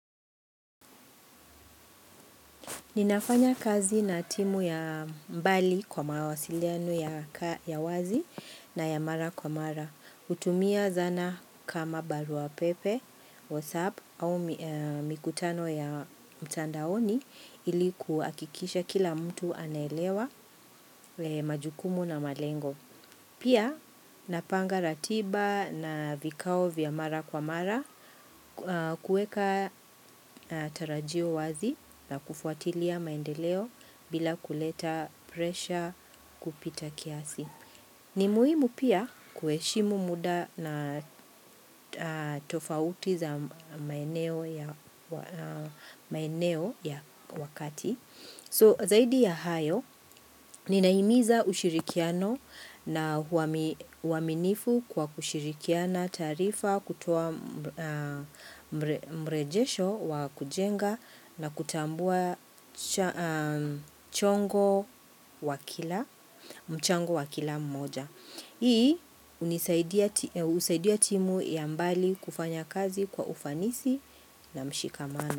Ninafanya kazi na timu ya mbali kwa mawasiliano ya wazi na ya mara kwa mara. Hutumia zana kama barua pepe, whatsapp au mikutano ya mtandaoni ilikuhakikisha kila mtu anaelewa majukumu na malengo. Pia napanga ratiba na vikao vya mara kwa mara kuweka tarajio wazi na kufuatilia maendeleo bila kuleta presha kupita kiasi. Ni muhimu pia kuheshimu muda na tofauti za maeneo ya wakati. So zaidi ya hayo, ninahimiza ushirikiano na uaminifu kwa kushirikiana tarifa kutuoa mrejesho wa kujenga na kutambua mchango wa kila mmoja. Hii, husaidia timu ya mbali kufanya kazi kwa ufanisi na mshikamano.